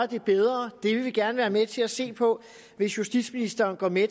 det bedre det vil vi gerne være med til at se på hvis justitsministeren går med